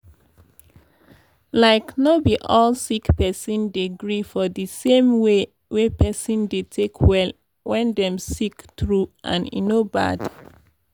like no be all sick pesinn dey gree for d same way wey pesin dey take well wen dem sick true and e no bad.